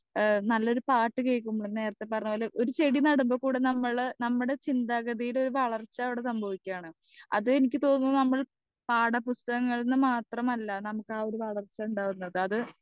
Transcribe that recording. speaker 2 ഏഹ് നല്ലൊരു പാട്ട് കേക്കുമ്പോന്നെ നേരത്തെ പറഞ്ഞ പോലെ ഒരു ചെടി നടമ്പോ കൂടെ നമ്മൾ നമ്മടെ ചിന്താഗതിയുടെ ഒരു വളർച്ച അവിടെ സംഭവിക്കാണ് അത് എനിക്ക് തോന്നുന്നു നമ്മൾ പാഠപുസ്തകങ്ങളിൽ നിന്ന് മാത്രമല്ല നമ്മൾക്ക് ആ ഒരു വളർച്ച ഇണ്ടാവുന്നത് അത്